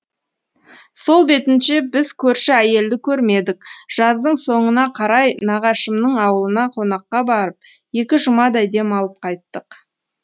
сол бетінше біз көрші әйелді көрмедік жаздың соңына қарай нағашымның ауылына қонаққа барып екі жұмадай дем алып қайттық